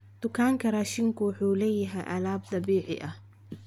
Dukaanka raashinku wuxuu leeyahay alaab dabiici ah.